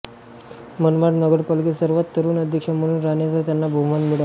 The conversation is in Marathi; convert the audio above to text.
मनमाड नगरपालिकेचे सर्वात तरुण अध्यक्ष म्हणून राहण्याचा त्यांना बहुमान मिळाला